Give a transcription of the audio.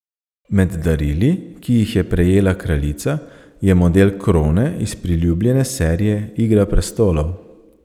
Med darili, ki jih je prejela kraljica, je model krone iz priljubljene serije Igra prestolov.